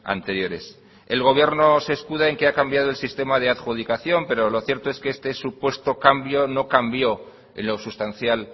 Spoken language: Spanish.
anteriores el gobierno se escuda en que ha cambiado el sistema de adjudicación pero lo cierto es que este supuesto cambio no cambió en lo sustancial